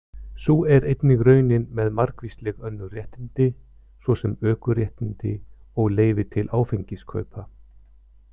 Sú er einnig raunin með margvísleg önnur réttindi, svo sem ökuréttindi og leyfi til áfengiskaupa.